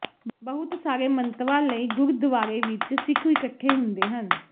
ਬਹੁਤ ਸਾਰੇ ਮੰਤਵਾਂ ਲਈ ਗੁਰਦੁਆਰੇ ਵਿੱਚ ਸਿੱਖ ਇਕੱਠੇ ਹੁੰਦੇ ਹਨ